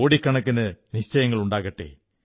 കോടിക്കണക്കിന് നിശ്ചയങ്ങളുണ്ടാകട്ടെ